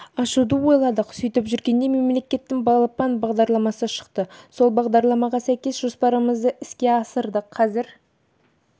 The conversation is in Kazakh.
ашуды ойладық сөйтіп жүргенде мемлекеттің балапан бағдарламасы шықты сол бағдарламаға сәйкес жоспарымызды іске асырдық қазір